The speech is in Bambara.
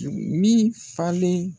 Min falen